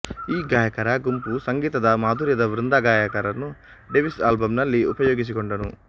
ಈ ಗಾಯಕರ ಗುಂಪು ಸಂಗೀತದ ಮಾಧುರ್ಯದ ವೃಂದಗಾಯಕರನ್ನು ಡೇವಿಸ್ ಆಲ್ಬಂನಲ್ಲಿ ಉಪಯೋಗಿಸಿಕೊಂಡನು